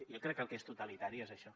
jo crec que el que és totalitari és això